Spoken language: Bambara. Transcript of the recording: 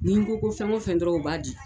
Ni n ko ko fɛn o fɛn dɔrɔn u b'a di.